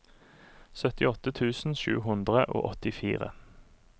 syttiåtte tusen sju hundre og åttifire